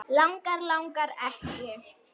Langar, langar ekki.